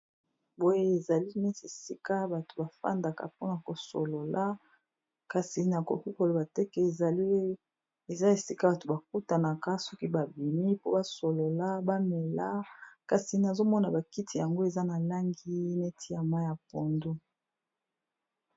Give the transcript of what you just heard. Boye ezali nesi esika bato ba fandaka mpona kosolola kasi na koki koloba teke ezali eza esika bato bakutanaka soki babimi po basolola bamela, kasi nazomona bakiti yango eza na langi neti ya ma ya pondo.